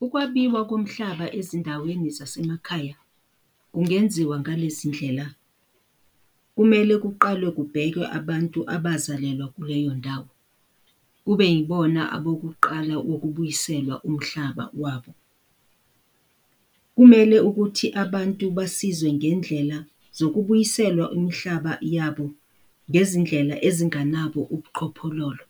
Ukwabiwa komhlaba ezindaweni zasemakhaya kungenziwa ngalezi ndlela, kumele kuqalwe kubhekwe abantu abazalelwa kuleyo ndawo kube yibona abokuqala ukubuyiselwa umhlaba wabo. Kumele ukuthi abantu basizwe ngendlela zokubuyiselwa imhlaba yabo ngezindlela ezinganabo ubuqhophololo.